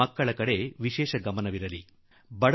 ಮಕ್ಕಳ ಕಡೆ ವಿಶೇಷ ಗಮನ ಕೊಡಬೇಕು